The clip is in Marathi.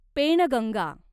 पेणगंगा